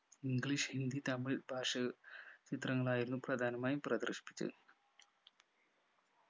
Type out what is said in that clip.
english Hindi Tamil ഭാഷ ചിത്രങ്ങളായിരുന്നു പ്രധാനമായും പ്രദർശിപ്പിച്ചത്